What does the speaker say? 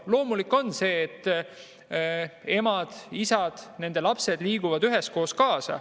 Loomulik on see, et emad-isad ja nende lapsed liiguvad üheskoos.